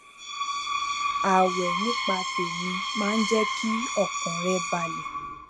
ààwè nípa tèmí máa ń jé kí ọkàn rè balè